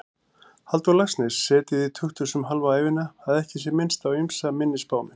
Halldór Laxness setið í tukthúsum hálfa ævina, að ekki sé minnst á ýmsa minni spámenn.